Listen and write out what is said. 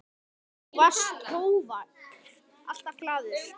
Þú varst hógvær, alltaf glaður.